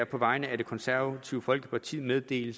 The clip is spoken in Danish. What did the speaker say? på vegne af det konservative folkeparti meddele